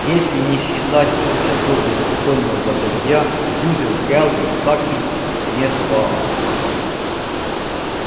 если не считать двух часов беспокойного забытья сьюзен кэлвин так и не спала